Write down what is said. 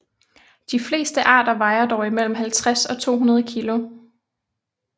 De fleste arter vejer dog mellem 50 og 200 kg